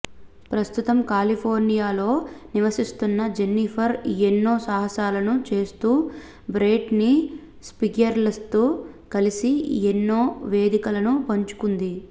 ప్రస్తుతం కాలిఫోర్నియాలో నివసిస్తున్న జెన్నిఫర్ ఎన్నో సాహసాలను చేస్తూ బ్రెట్నీ స్పియర్స్తో కలిసి ఎన్నో వేదికలను పంచుకుంది